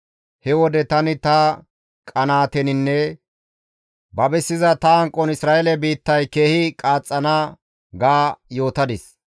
He wode tani ta qanaateninne babisiza ta hanqon Isra7eelen biittay keehi qaaxxana ga yootadis.